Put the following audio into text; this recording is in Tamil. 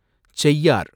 செய்யார்